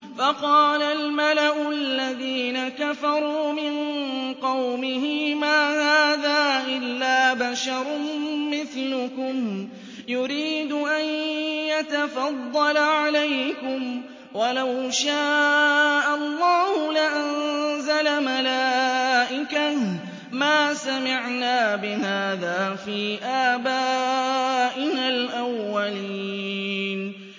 فَقَالَ الْمَلَأُ الَّذِينَ كَفَرُوا مِن قَوْمِهِ مَا هَٰذَا إِلَّا بَشَرٌ مِّثْلُكُمْ يُرِيدُ أَن يَتَفَضَّلَ عَلَيْكُمْ وَلَوْ شَاءَ اللَّهُ لَأَنزَلَ مَلَائِكَةً مَّا سَمِعْنَا بِهَٰذَا فِي آبَائِنَا الْأَوَّلِينَ